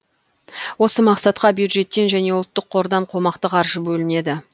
осы мақсатқа бюджеттен және ұлттық қордан қомақты қаржы бөлінеді